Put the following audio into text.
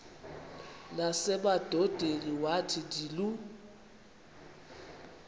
nasemadodeni wathi ndilu